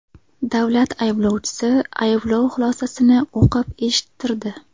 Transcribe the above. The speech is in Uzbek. Davlat ayblovchisi ayblov xulosasini o‘qib eshittirdi.